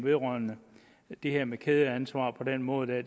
vedrørende det her med kædeansvaret på den måde der